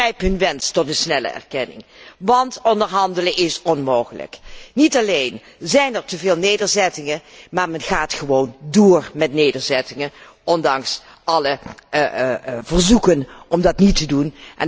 Ik begrijp hun wens tot snelle erkenning, want onderhandelen is onmogelijk. Niet alleen zijn er teveel nederzettingen, maar men gaat gewoon door met nederzettingen, ondanks alle verzoeken om dat niet te doen.